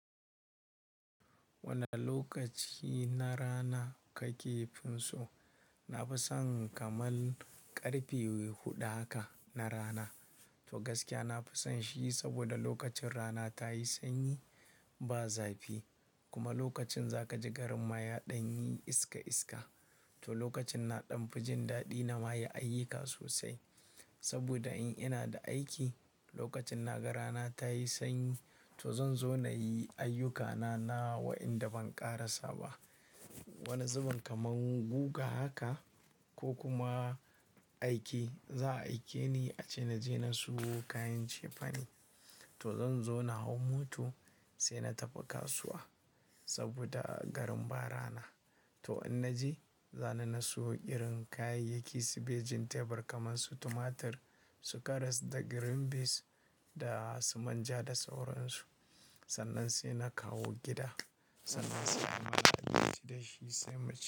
Wane lokaci na rana kake finso? Na fi son kamar ƙarfe hudu haka na rana. To gaskiya na fi son shi saboda lokacin rana ta yi sanyi, ba zafi kuma lokacin za ka ji garin maya ɗan yi iska iska. To lokacin na ɗan fi jin daɗi na mayi ayyuka sosai. Saboda in ina da aiki lokacin na ga rana ta yi sanyi, to zan zo na yi ayyukana na wa inda ban ƙara saba. Wani zuben kamar guga haka ko kuma aike, za a aike ni ace na je na sayo kayan cefane. To zan zo na hau moto sai na tafi kasuwa saboda garin ba rana. To in na je, za ni na sayo irin kayayyaki su bejin tebur kamar su tumatir, su karas da green beans da su manja da sauransu. Sannan sai na kawo gida, sannan sai ana amfanin shi da shi sai mu ci.